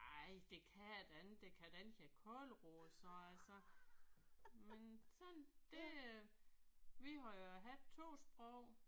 Ej det kan da ikke det kan da ikke hedde kålroe sagde jeg så. Men sådan det øh vi må jo have 2 sprog